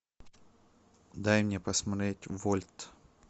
дай мне посмотреть вольт